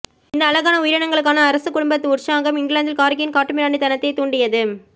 இந்த அழகான உயிரினங்களுக்கான அரச குடும்பத்தின் உற்சாகம் இங்கிலாந்தில் கார்கியின் காட்டுமிராண்டித்தனத்தைத் தூண்டியது